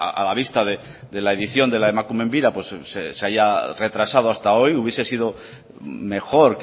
a la vista de la edición de la emakumeen bira se haya retrasado hasta hoy hubiese sido mejor